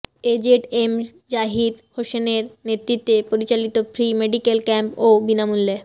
এ Z M Zahid হোসেনের নেতৃত্বে পরিচালিত ফ্রি মেডিকেল ক্যাম্প ও বিনামূল্যে